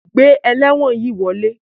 Gbé elewon yí wọle!